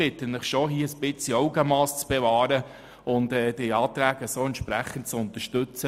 Ich bitte Sie schon, ein bisschen Augenmass zu bewahren und die Anträge wie von Kommission und Regierung vorgeschlagen zu unterstützen.